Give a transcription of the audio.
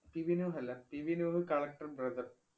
PB Nooh അല്ല. PB Nooh collector brother